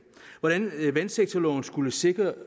vandsektorloven skulle sikre